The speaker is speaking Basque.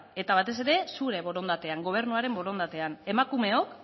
eta batez ere zure borondatean gobernuaren borondatean emakumeok